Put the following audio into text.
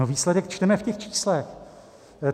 No výsledek čteme v těch číslech.